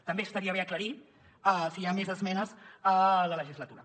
també estaria bé aclarir si hi ha més esmenes a la legislatura